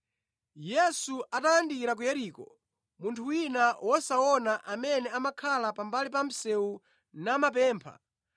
Yesu atayandikira ku Yeriko, munthu wina wosaona amene amakhala pambali pa msewu namapempha,